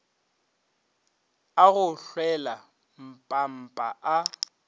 a go hlwela mpampa a